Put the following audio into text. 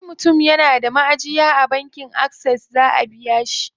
Sai mutum yana da maʼajiya a bankin Access zaʼa biya shi.